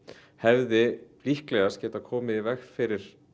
hefði líklegast getað komið í veg fyrir